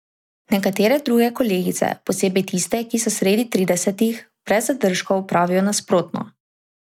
Nekatere druge kolegice, posebej tiste, ki so sredi tridesetih, brez zadržkov pravijo nasprotno.